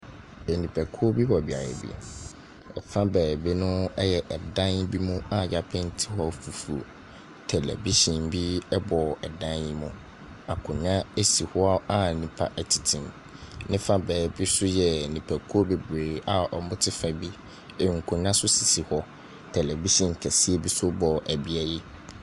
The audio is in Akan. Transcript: Nnipakuo bi wɔ beaeɛ bi, fa beebi no yɛ dan mu a yɛapeenti hɔ fufuo. Tɛlɛbihyɛn bi bɔ dan yi mu, akonnwa si hɔ a nnipa tete mu. Ne fa beebi nso yɛ nnipakuo bebree a wɔte fa bi, nkonnwa nso sisi hɔ. Tɛlɛbihyɛn kɛseɛ bi nso bɔ bea yi.